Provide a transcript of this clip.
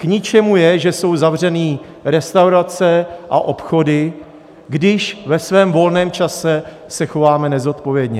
K ničemu je, že jsou zavřené restaurace a obchody, když ve svém volném čase se chováme nezodpovědně.